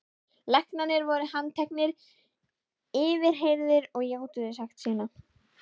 Læknarnir voru handteknir, yfirheyrðir og játuðu sekt sína.